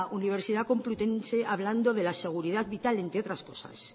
universidad complutense hablando de la seguridad vital entre otras cosas